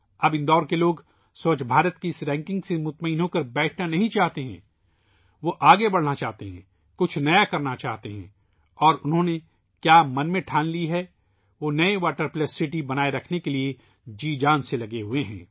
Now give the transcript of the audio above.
اب اندور کے لوگ سووچھ بھارت کی اس درجہ بندی سے مطمئن نہیں بیٹھنا چاہتے ، وہ آگے بڑھنا چاہتے ہیں ، کچھ نیا کرنا چاہتے ہیں اور انہوں نے اپنے ذہن میں جو فیصلہ کیا ہے ، وہ ' واٹر پلس سٹی ' کو برقرار رکھنے کے لئے سخت محنت کر رہےہیں